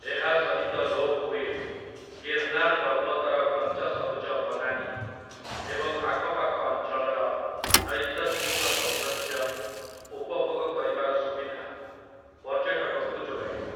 ଏହା ସହିତ ରୋପୱେ ଗିର୍ନାର ପର୍ବତର ଘଞ୍ଚ ସବୁଜ ବନାନି ଏବଂ ଆଖପାଖ ଅଞ୍ଚଳର ନୈସର୍ଗିକ ସୌନ୍ଦର୍ଯ୍ୟ ଉପଭୋଗ କରିବାର ସୁବିଧା ପର୍ଯ୍ୟଟକଙ୍କୁ ଯୋଗାଇବ ।